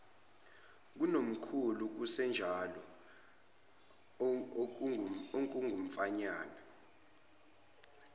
kunomkhulu kusenjalo okungumfanyana